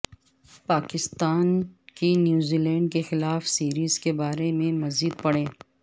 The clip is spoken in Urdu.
پاکستان کی نیوزی لینڈ کے خلاف سیریز کے بارے میں مزید پڑھیے